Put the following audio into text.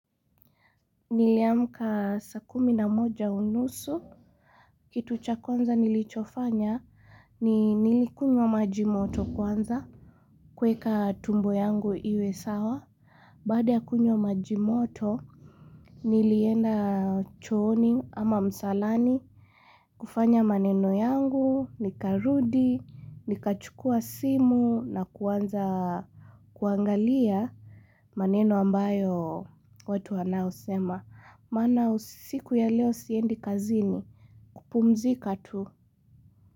Niliamka saa kumi na moja unusu. Kitu cha kwanza nilichofanya ni nilikunywa maji moto kwanza. Kueka tumbo yangu iwe sawa. Baada ya kunywa maji moto, nilienda chooni ama msalani. Kufanya maneno yangu, nikarudi, nikachukua simu na kuanza kuangalia maneno ambayo watu wanayo sema. Maana usiku ya leo siendi kazini, kupumzika tu.